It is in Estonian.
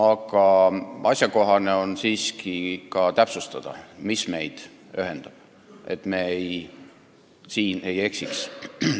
Aga asjakohane on siiski ka täpsustada, mis meid ühendab, et me siin ei eksiks.